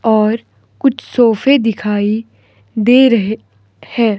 और कुछ सोफे दिखाई दे रहे हैं।